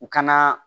U ka